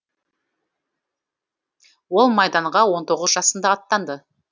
ол майданға он тоғыз жасында аттанды